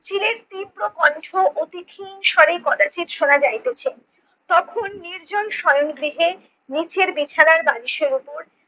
চিলের তীব্র কণ্ঠ অতিথি হীনসারি কদাচিৎ শোনা যাইতেছে, তখন নির্জন শয়ন গৃহে নিচের বিছানার বালিশের ওপর